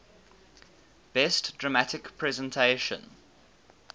best dramatic presentation